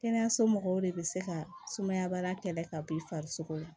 Kɛnɛyaso mɔgɔw de bɛ se ka sumaya baara kɛlɛ ka b'i farisogo la